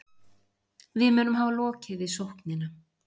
Við munum hafa lokið við sóknina